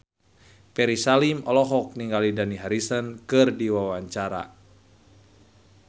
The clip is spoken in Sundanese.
Ferry Salim olohok ningali Dani Harrison keur diwawancara